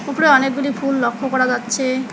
উপরে অনেকগুলি ফুল লক্ষ্য করা যাচ্ছে।